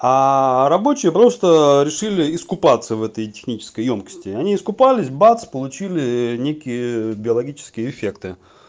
рабочие просто решили искупаться в этой технической ёмкости они искупались бац получили некие биологические эффекты